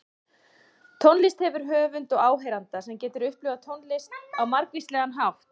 Tónlist hefur höfund og áheyranda, sem getur upplifað tónlist á margvíslegan hátt.